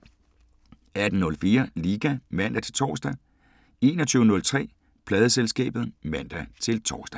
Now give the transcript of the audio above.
18:04: Liga (man-tor) 21:03: Pladeselskabet (man-tor)